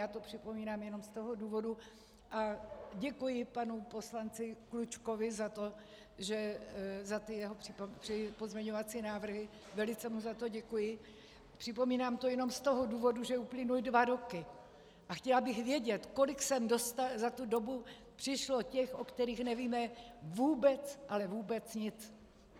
Já to připomínám jenom z toho důvodu, a děkuji panu poslanci Klučkovi za ty jeho pozměňovací návrhy, velice mu za to děkuji, připomínám to jenom z toho důvodu, že uplynuly dva roky a chtěla bych vědět, kolik sem za tu dobu přišlo těch, o kterých nevíme vůbec, ale vůbec nic.